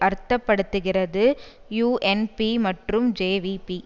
அர்த்த படுத்துகிறது யூஎன்பி மற்றும் ஜேவிபி